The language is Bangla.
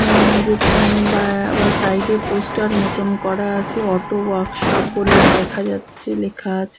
এ্যা যেখানে বা বা সাইড -এ পোস্টার মতন করা আছে অটো ওয়ার্কশপ বলে দেখা যাচ্ছে লেখা আছে।